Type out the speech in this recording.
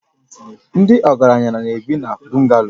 Ndị ọgaranya na-ebi na Bungalo